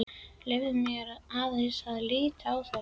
Leyfðu mér aðeins að líta á þetta.